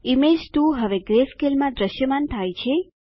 image 2 હવે ગ્રેસ્કેલમાં દ્રશ્યમાન થાય છે